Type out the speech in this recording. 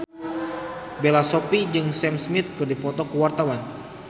Bella Shofie jeung Sam Smith keur dipoto ku wartawan